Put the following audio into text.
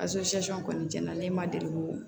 kɔni cɛn na ne ma deli koo